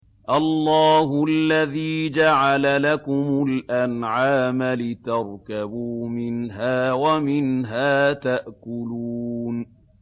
اللَّهُ الَّذِي جَعَلَ لَكُمُ الْأَنْعَامَ لِتَرْكَبُوا مِنْهَا وَمِنْهَا تَأْكُلُونَ